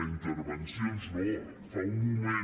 tervencions no fa un moment